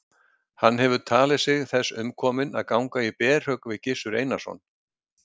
Hann hefur talið sig þess umkominn að ganga í berhögg við Gizur Einarsson.